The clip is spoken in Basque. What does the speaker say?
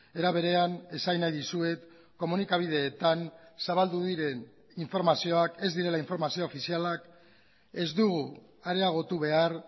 era berean esan nahi dizuet komunikabideetan zabaldu diren informazioak ez direla informazio ofizialak ez dugu areagotu behar